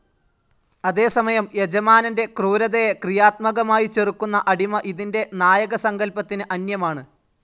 അതേസമയം, യജമാനന്റെ ക്രൂരതയെ ക്രിയാത്മകമായി ചെറുക്കുന്ന അടിമ ഇതിന്റെ നായകസങ്കല്പത്തിന് അന്യമാണ്.